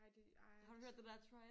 Ej det ej det sådan